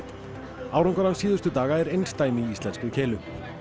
árangur hans síðustu daga er einsdæmi í íslenskri keilu